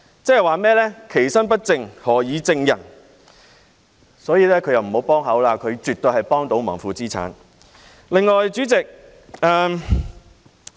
正所謂"其身不正，何以正人"，因此他不要加入討論，他絕對是負資產、在幫倒忙。